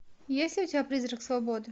есть ли у тебя призрак свободы